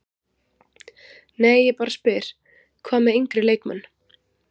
Nei ég bara spyr, hvað með yngri leikmenn?